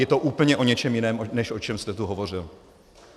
Je to úplně o něčem jiném, než o čem jste tu hovořil.